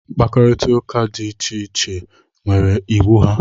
mkpakọrịta dị iche iche nwere iwu ha